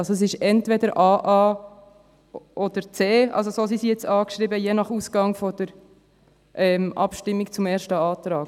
Also: Es ist entweder aa oder c, je nach Ausgang der Abstimmung über den ersten Antrag.